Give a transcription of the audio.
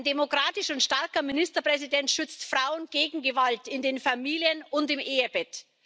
Ein demokratischer und starker Ministerpräsident schützt Frauen gegen Gewalt in den Familien und im Ehebett.